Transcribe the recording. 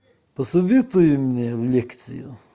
посоветуй мне лекцию